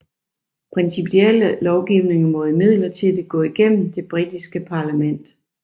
Principielle lovgivninger må imidlertid gå gennem det britiske parlament